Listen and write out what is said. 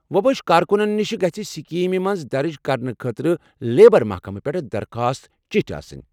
وۄبٲشۍ کارکنن نِش گژھ سکیٖمہِ مَنٛز درج کرنہٕ خٲطرٕ لیبر محکمہٕ پٮ۪ٹھ درخواست چٹھۍ آسٕنۍ۔